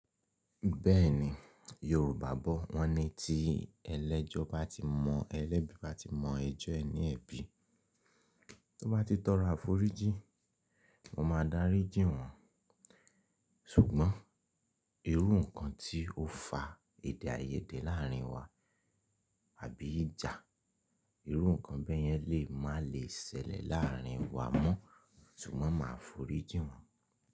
Bẹ́ẹ̀ni, Yorùbá bọ̀ wọ́n ní tí ẹlẹ́jọ́ bá ti mọ ẹlẹ́bí bá ti mọ ẹjọ́ ẹni ẹbí, tó bá ti tọrọ á forí jí, mo máa dárí jí wọn. Ṣùgbọ́n irú nǹkan tí ó fa èdè àìyédè láàárín wa àbí ìjà, irú nǹkan bẹ́ẹ̀ yẹn lè má le ṣẹlẹ̀ l'àárín wa mọ́ ṣùgbọ́n máa foríjí wọn.